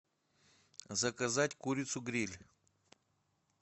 заказать курицу гриль